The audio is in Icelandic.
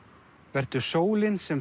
vertu sólin sem